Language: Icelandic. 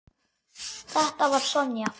Þetta var Sonja.